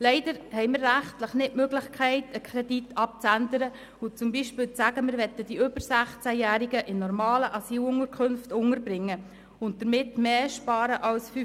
Leider haben wir rechtlich nicht die Möglichkeit, einen Kredit abzuändern und zum Beispiel zu sagen, wir wollten die über 16-Jährigen in normalen Asylunterkünften unterbringen und damit mehr als 5 Mio. Franken sparen.